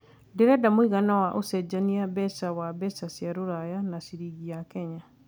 ndĩreda mũigana wa ũcenjanĩa mbeca wa mbeca cia rũraya na ciringi ya Kenya